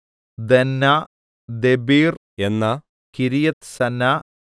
ദന്ന ദെബീർ എന്ന കിര്യത്ത്സന്ന